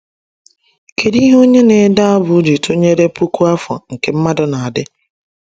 Kedu ihe onye na-ede abụ ji tụnyere puku afọ nke mmadụ na-adị?